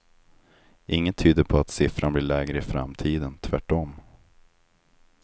Inget tyder på att siffran blir lägre i framtiden, tvärtom.